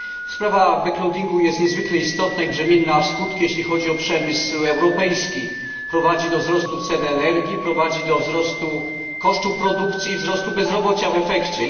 Sprawa jest niezwykle istotna i brzemienna w skutki jeśli chodzi o przemysł europejski, prowadzi do wzrostu cen energii, prowadzi do wzrostu kosztów produkcji i wzrostu bezrobocia w efekcie.